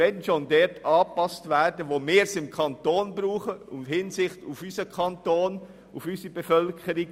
Wenn schon sollten die Tarife dort angepasst werden, wo wir es innerhalb unseres Kantons brauchen, mit Blick auf unseren Kanton und unsere Bevölkerung.